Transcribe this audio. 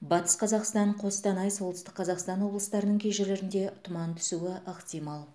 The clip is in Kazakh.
батыс қазақстан қостанай солтүстік қазақстан облыстарының кей жерлерінде тұман түсуі ықтимал